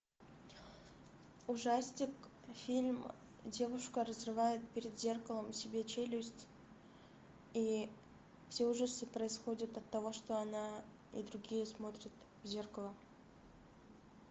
ужастик фильм девушка разрывает перед зеркалом себе челюсть и все ужасы происходят от того что она и другие смотрят в зеркало